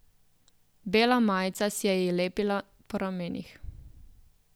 Bela majica se ji je lepila po ramenih.